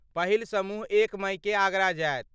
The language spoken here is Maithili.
पहिल समूह एक मइकेँ आगरा जायत।